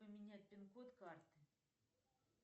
поменять пин код карты